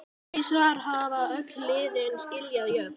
Tvisvar hafa liðin skilið jöfn.